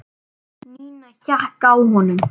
Nína hékk á honum.